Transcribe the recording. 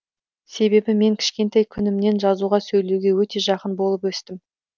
себебі мен кішкентай күнімнен жазуға сөйлеуге өте жақын болып өстім